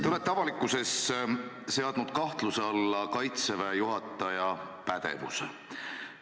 Te olete avalikkuses seadnud kahtluse alla Kaitseväe juhataja pädevuse.